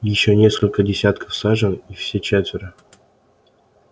ещё несколько десятков сажен и все четверо